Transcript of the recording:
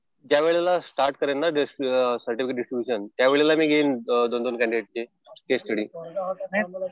ज्या वेळेला स्टार्ट करेल ना सर्टिफिकेट डिस्ट्रिब्युशन त्या वेळेला मी घेईन दोन दोन कँडिडेटचे केस स्टडी.